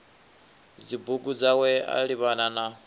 dzibugu dzawe a livhana na